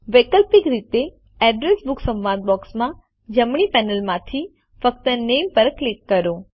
વૈકલ્પિક રીતે address book સંવાદ બૉક્સમાં જમણી પેનલ માંથી ફક્ત નામે પર ક્લિક કરો